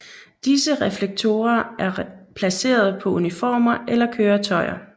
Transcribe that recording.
Disse reflektorer er placeret på uniformer eller køretøjer